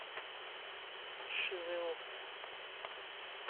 паршивые овцы